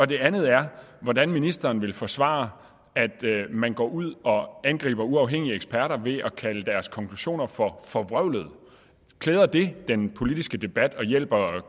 det andet er hvordan ministeren vil forsvare at man går ud og angriber uafhængige eksperter ved at kalde deres konklusioner for forvrøvlede klæder det den politiske debat og hjælper